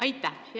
Aitäh!